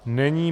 Není.